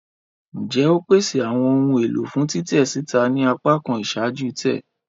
Njẹ o pese awọn ohun elo fun titẹ sita ni apakan iṣaaju-tẹ?